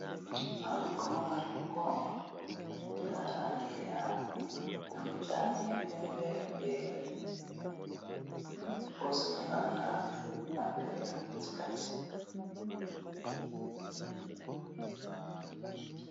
komona logo eza na langi ya motane, pembe pe bozinga na pembe na katikati